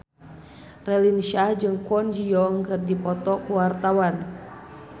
Raline Shah jeung Kwon Ji Yong keur dipoto ku wartawan